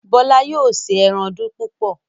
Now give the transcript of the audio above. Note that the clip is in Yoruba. Bola yóò ṣe èràn púpọ.